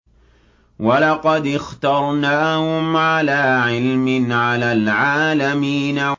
وَلَقَدِ اخْتَرْنَاهُمْ عَلَىٰ عِلْمٍ عَلَى الْعَالَمِينَ